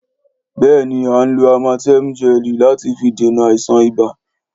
Béèni a nlo ámátèmù gẹlì láti fi dènà àìsàn ibà.